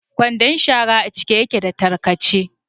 Kwandon shara a cike yake da tarkace.